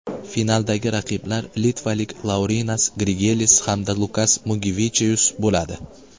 Finaldagi raqiblar litvalik Laurinas Grigelis hamda Lukas Mugivechius bo‘ladi.